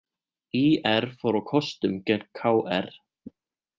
ÍR fór á kostum gegn KR